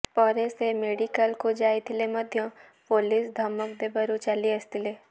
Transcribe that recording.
ପରେ ସେ ମେଡ଼ିକାଲକୁ ଯାଇଥିଲେ ମଧ୍ୟ ପୁଲିସ ଧମକ ଦେବାରୁ ଚାଲି ଆସିଥିଲେ